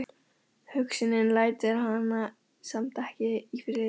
Hugsunin lætur hana samt ekki í friði.